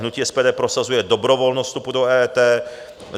Hnutí SPD prosazuje dobrovolnost vstupu do EET.